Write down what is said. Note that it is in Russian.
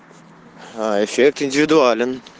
эффект индивидуален